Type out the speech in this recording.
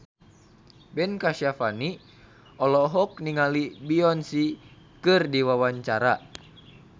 Ben Kasyafani olohok ningali Beyonce keur diwawancara